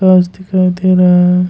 घास दिखाई दे रहा है।